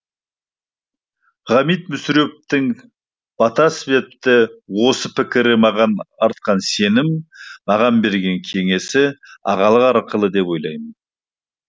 ғабит мүсіреповтің бата іспетті осы бір пікірі маған артқан сенімі маған берген кеңесі ағалық ақылы деп ойлаймын